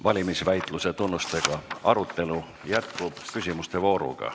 Valimisväitluse tunnustega arutelu jätkub küsimuste vooruga.